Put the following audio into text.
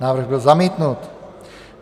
Návrh byl zamítnut.